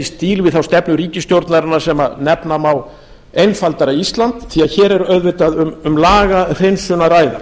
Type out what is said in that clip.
stíl við þá stefnu ríkisstjórnarinnar sem nefna má einfaldara ísland því að hér er auðvitað um lagahreinsun að ræða